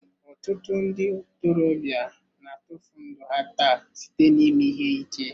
Ọtụtụ ndị ntorobịa na-atụfu ndụ ha taa site n'ime ihe ike.